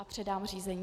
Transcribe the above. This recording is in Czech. A předám řízení.